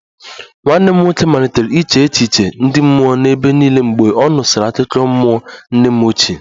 Nwanne m nwoke malitere iche echiche ndị mmụọ n'ebe niile mgbe ọ nụsịrị akụkọ mmụọ nne m ochie